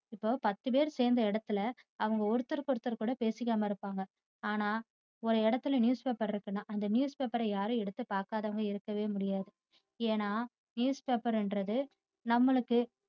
இப்போ பத்து பேர் சேர்ந்த இடத்தில அவங்க ஒருத்தருக்கு ஒருத்தர் கூட பேசிக்காம இருப்பாங்க ஆனா ஒரு இடத்துல news paper இருக்குன்னா அந்த news paper ய யாரும் எடுத்து பாக்காதவங்க இருக்கவே முடியாதது ஏன்னா news paper ங்கிறது நம்மளுக்கு